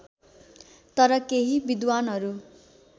तर केही विद्वानहरू